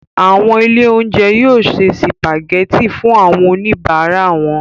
Àwọn ilé-oúnjẹ yóò se sìpàgẹ́tì fún àwọn oníbàárà wọn.